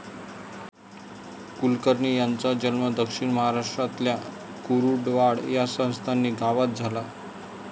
कुलकर्णी यांचा जन्म दक्षिण महाराष्ट्रातल्या कुरुंदवाड या संस्थानी गावात झाला.